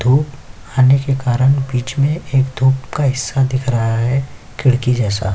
होने के कारन बीच में एक धूप का हिस्सा दिख रहा है खिड़की जैसा --